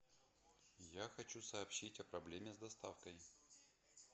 я хочу сообщить о проблеме с доставкой